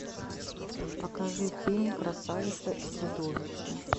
покажи фильм красавица и чудовище